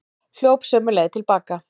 Hljóp sömu leið til baka.